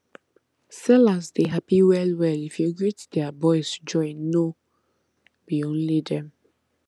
sellers dey happy well well if you greet their boys join no be only them